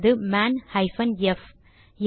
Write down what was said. அல்லது man hyphen F